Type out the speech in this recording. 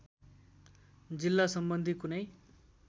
जिल्ला सम्बन्धी कुनै